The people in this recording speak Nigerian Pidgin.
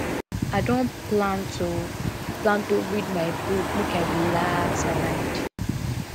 i don plan to plan to read my book make i relax my mind